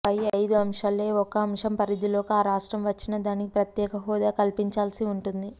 పై ఐదు అంశాల్లో ఏ ఒక్క అంశం పరిధిలోకి ఆ రాష్ట్రం వచ్చినా దానికి ప్రత్యేక హోదా కల్పించాల్సి ఉంటుంది